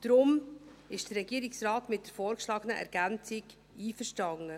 Deshalb ist der Regierungsrat mit der vorgeschlagenen Ergänzung einverstanden.